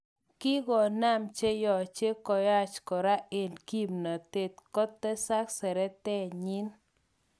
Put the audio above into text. Kinkonam cheyoche koyach kora eng kipnotet, kotesak seretenyin.